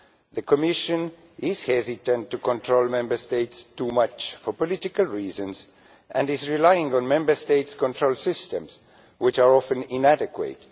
The Commission is hesitant to control Member States too much for political reasons and is relying on Member States' control systems, which are often inadequate.